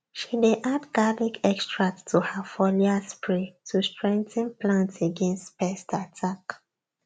she dey add garlic extract to her foliar spray to strengthen plants against pest attack